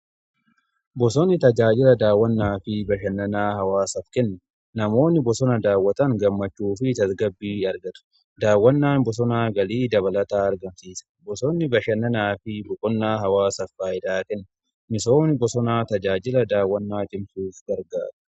bosonni tajaajila daawwannaa fi bashannanaa hawaasaf kenna. namoonni bosona daawwatan gammachuu fi tasgabbii argatu. daawwannaan bosonaa galii dabalataa argamsiisa. bosonni bashannanaa fi boqonnaa hawaasaf faayidaa qaba. misoomni bosonaa tajaajila daawwannaa cimsuuf gargaara.